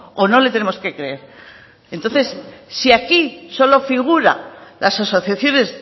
o no le tenemos que creer entonces si aquí solo figura las asociaciones